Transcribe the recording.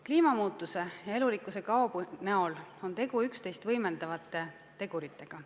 Kliimamuutuse ja elurikkuse kao näol on tegu üksteist võimendavate teguritega.